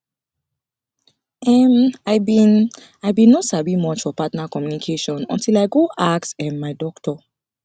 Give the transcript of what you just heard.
em i been i been no sabi much for partner communication until i go ask um my doctor